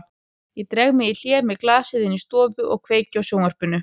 Ég dreg mig í hlé með glasið inn í stofu og kveiki á sjónvarpinu.